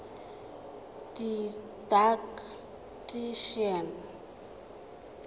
didactician